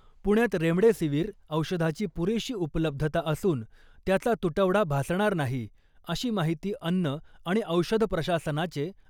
पुण्यात रेमडेसिवीर औषधाची पुरेशी उपलब्धता असून त्याचा तुटवडा भासणार नाही , अशी माहिती अन्न आणि औषध प्रशासनाचे